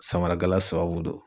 Samarakala sababu don.